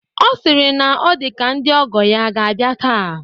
Ọ sịrị na ọ dị ka ndị ọgọ ya a ga-abịa taa.